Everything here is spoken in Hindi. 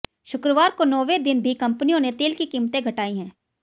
शुक्रवार को नौवें दिन भी कंपनियों ने तेल की कीमतें घटाई हैं